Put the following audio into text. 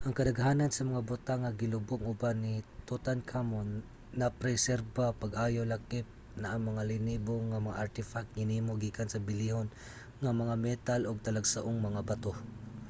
ang kadaghanan sa mga butang nga gilubong uban ni tutankhamun napreserbar pag-ayo lakip na ang mga linibo nga mga artefact hinimo gikan sa bililhon nga mga metal ug talagsaong mga bato